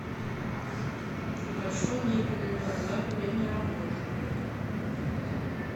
большой мебельный базар время работы